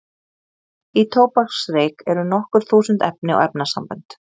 Í tóbaksreyk eru nokkur þúsund efni og efnasambönd.